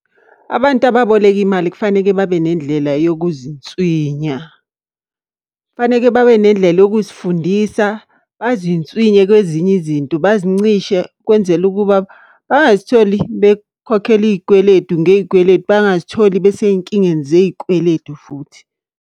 Abantu ababoleka imali kufanele babe nendlela yokuzinswinya. Kufaneke babe nendlela yokuzifundisa, bazinswinye kwezinye izinto, bazincishe. Kwenzele ukuba bangazitholi bekhokhela iy'kweletu ngey'kweletu, bangazitholi besey'nkingeni zey'kweletu futhi.